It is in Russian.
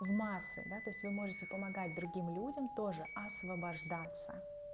в массы да то есть вы можете помогать другим людям тоже освобождаться